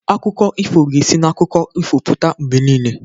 Akụkọ ifo ga-esi n'akụkọ ifo pụta mgbe niile.